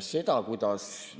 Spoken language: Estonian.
Seda, kuidas